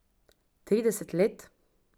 Trideset let?